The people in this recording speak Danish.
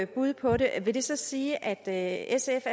bud på det vil det så sige at sf